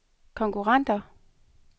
konkurrenter